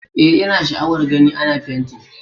Eh, ina sha'awar gani ana fenti